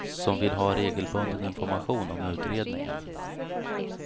som vill ha regelbunden information om utredningen.